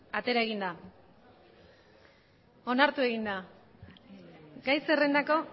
onartu egin da gai zerrendako